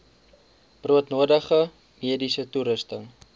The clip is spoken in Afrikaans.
broodnodige mediese toerusting